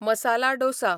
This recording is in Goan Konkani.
मसाला डोसा